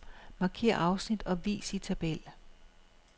Markér afsnit og vis i tabel.